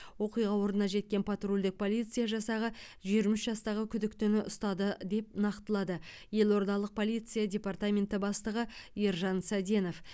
оқиға орнына жеткен патрульдік полиция жасағы жиырма үш жастағы күдіктіні ұстады деп нақтылады елордалық полиция департаментінің бастығы ержан саденов